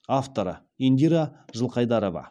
авторы индира жылқайдарова